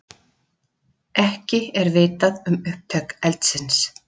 Ekki er vitað um upptök eldsins